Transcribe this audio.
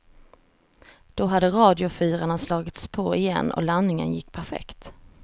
Då hade radiofyrarna slagits på igen och landningen gick perfekt.